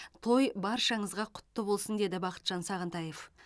той баршаңызға құтты болсын деді бақытжан сағынтаев